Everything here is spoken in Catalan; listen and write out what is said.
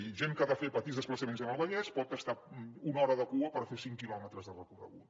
i gent que ha de fer petits desplaçaments en el vallès pot estar una hora de cua per fer cinc quilòmetres de recorregut